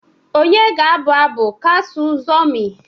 onye ga-abụ abụ Kassu Zurmi?